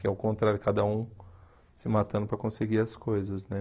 Que é o contrário, cada um se matando para conseguir as coisas, né?